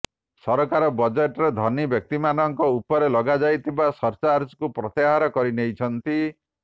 ସରକାର ବଜେଟରେ ଧନୀ ବ୍ୟକ୍ତିମାନଙ୍କ ଉପରେ ଲଗାଯାଇଥିବା ସରଚାର୍ଜକୁ ପ୍ରତ୍ୟାହାର କରିନେଇଛନ୍ତି